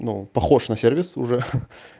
ну похож на сервис уже